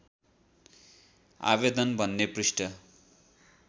आवेदन भन्ने पृष्ठ